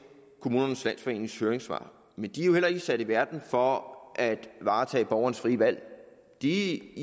kommunernes landsforenings høringssvar men de er jo heller ikke sat i verden for at varetage borgernes frie valg de